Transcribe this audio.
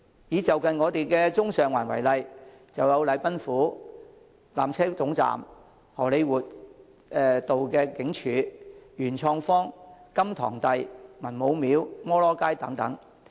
以就近的中環、上環為例，便有禮賓府、纜車總站、荷李活道警署、元創方、甘棠第、文武廟、摩羅街等。